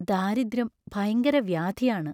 ദാരിദ്ര്യം ഭയങ്കര വ്യാധിയാണ്.